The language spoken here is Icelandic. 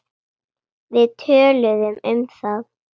Við töluðum um það.